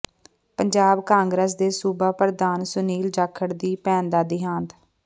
Punjab Congress ਦੇ ਸੂਬਾ ਪ੍ਰਧਾਨ ਸੁਨੀਲ ਜਾਖੜ ਦੀ ਭੈਣ ਦਾ ਦਿਹਾਂਤ